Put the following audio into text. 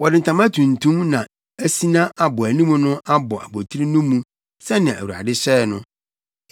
Wɔde ntama tuntum na asina abɔanim no abɔ abotiri no mu sɛnea Awurade hyɛe no.